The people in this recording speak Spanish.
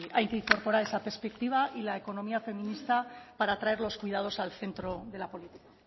hay que incorporar esa perspectiva y la economía feminista para traer los cuidados al centro de la política